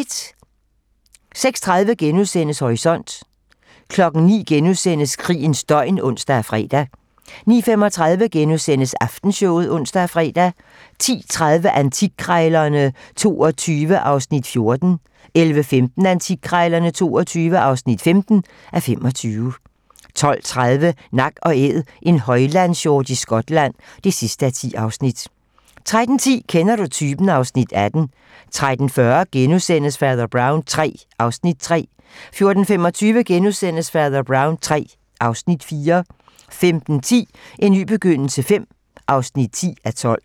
06:30: Horisont * 09:00: Krigens døgn *(ons og fre) 09:35: Aftenshowet *(ons og fre) 10:30: Antikkrejlerne XXII (14:25) 11:15: Antikkrejlerne XXII (15:25) 12:30: Nak & Æd - en højlandshjort i Skotland (10:10) 13:10: Kender du typen? (Afs. 18) 13:40: Fader Brown III (Afs. 3)* 14:25: Fader Brown III (Afs. 4)* 15:10: En ny begyndelse V (10:12)